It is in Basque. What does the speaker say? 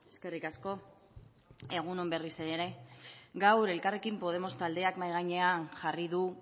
eskerrik asko egun on berriz ere gaur elkarrekin podemos taldeak mahai gainean jarri du